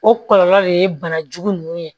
O kɔlɔlɔ de ye banajugu ninnu ye